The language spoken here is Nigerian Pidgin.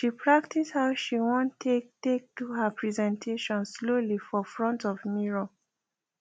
she practice how she want take take do her presentation slowly for front of mirror